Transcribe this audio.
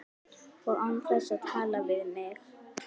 Og án þess að tala við mig!